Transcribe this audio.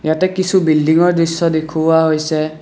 ইয়াতে কিছু বিল্ডিংৰ দৃশ্য দেখুওৱা হৈছে।